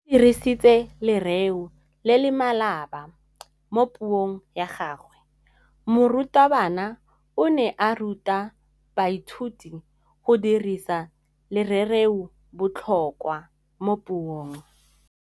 O dirisitse lerêo le le maleba mo puông ya gagwe. Morutabana o ne a ruta baithuti go dirisa lêrêôbotlhôkwa mo puong.